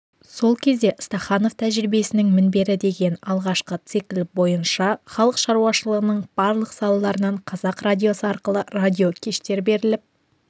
сол кезде стаханов тәжірибесінің мінбері деген алғашқы цикл бойынша халық шаруашылығының барлық салаларынан қазақ радиосы арқылы радиокештер беріліп